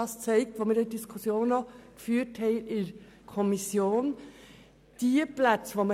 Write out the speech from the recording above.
Es zeigte sich jedoch das, was wir auch in der Kommission diskutiert haben: